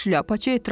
Şlyapaçı etiraz etdi.